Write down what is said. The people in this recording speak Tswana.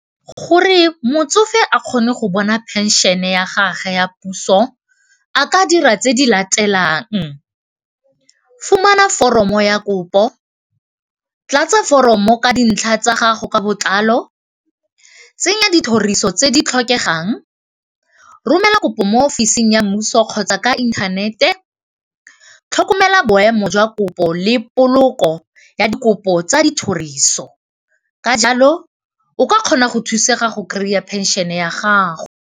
Gore motsofe a kgone go bona phenšhene ya gage ya puso a ka dira tse di latelang, fumana foromo ya kopo, tlatsa foromo ka dintlha tsa gago ka botlalo, tsenya dithoriso tse di tlhokegang, romela kopo mo ofising ya mmuso kgotsa ka inthanete, tlhokomela boemo jwa kopo le poloko ya dikopo tsa dithoriso ka jalo o ka kgona go thusega go kry-a pension-e ya gago.